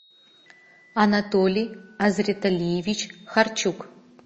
анатолий азриталиевич харчук